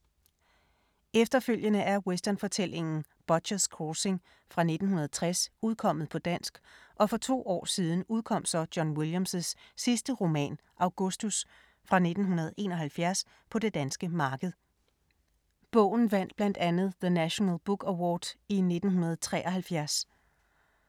Efterfølgende er westernfortællingen Butcher’s Crossing fra 1960 udkommet på dansk og for to år siden udkom så John Williams’ sidste roman Augustus fra 1971 på det danske marked. Bogen vandt blandt andet The National Book Award i 1973.